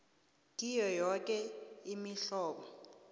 kiyo yoke imihlobo